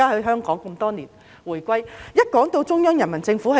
香港是"直轄於中央人民政府"。